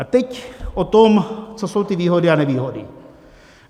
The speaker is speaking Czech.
A teď o tom, co jsou ty výhody a nevýhody.